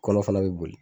Kɔnɔ fana bɛ boli